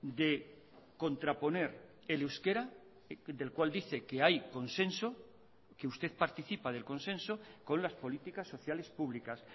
de contraponer el euskera del cual dice que hay consenso que usted participa del consenso con las políticas sociales públicas